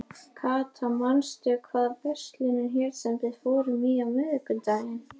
Kata, manstu hvað verslunin hét sem við fórum í á miðvikudaginn?